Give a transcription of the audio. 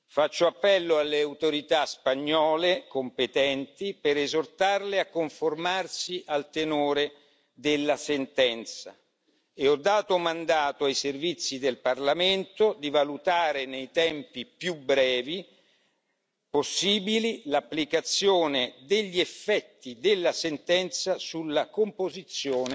Faccio appello alle autorità spagnole competenti per esortarle a conformarsi al tenore della sentenza e ho dato mandato ai servizi del Parlamento di valutare nei tempi più brevi possibili l'applicazione degli effetti della sentenza sulla composizione